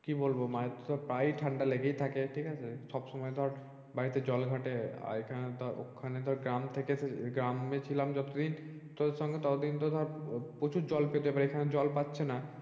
কি বলবো মায়ের তো ধর প্রায়ই ঠান্ডা লেগেই থাকে ঠিকাছে সবসময় ধর বাড়িতে জল ঘাটে আর এখানে ধর ওখানে ধর গ্রাম থেকে এসে গ্রামে ছিলাম যতদিন তোদের সঙ্গে ততদিন ধর আহ প্রচুর জল পেতাম আর এখানে জল পাচ্ছে না ।